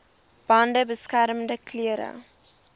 bande beskermende klere